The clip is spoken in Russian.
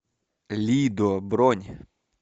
лидо бронь